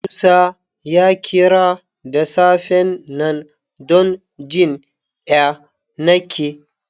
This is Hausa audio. Musa ya kira da safen nan don jin ƴanake.